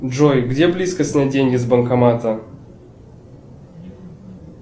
джой где близко снять деньги с банкомата